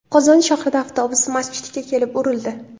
Qozon shahrida avtobus masjidga kelib urildi.